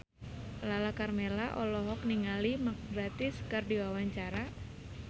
Lala Karmela olohok ningali Mark Gatiss keur diwawancara